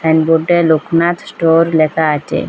And বোর্ডে Loknath store লেখা আছে।